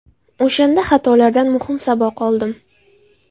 O‘shanda xatolardan muhim saboq oldim.